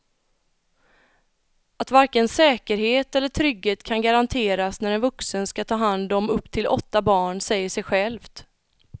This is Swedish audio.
Att varken säkerhet eller trygghet kan garanteras när en vuxen ska ta hand om upp till åtta barn säger sig självt.